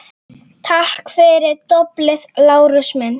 Takk fyrir doblið, Lárus minn